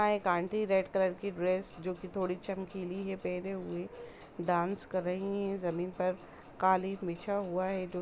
यहाँ एक aunty red colour की ड्रेस जो की थोड़ी चमकीली है पहने हुए डांस कर रही है जमीन पर कालीन बिछा हुआ है।